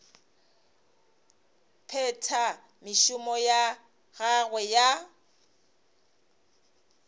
phetha mešomo ya gagwe ya